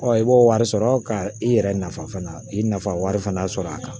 i b'o wari sɔrɔ ka i yɛrɛ nafa fana i nafa wari fana sɔrɔ a kan